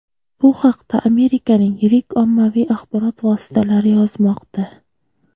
Bu haqda Amerikaning yirik ommaviy axborot vositalari yozmoqda.